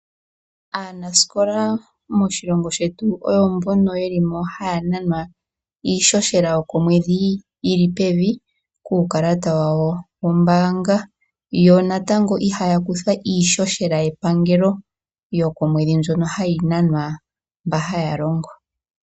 Aanasikola moshilongo shetu oyo mbono yeli mo haya nanwa iishoshela yokomwedhi yili pevi, kuukalata wa wo wombaanga . Yo natango ihaya kuthwa iishoshela yepangelo ,yo komwedhi mbyoka hayi nanwa mboka haya longo.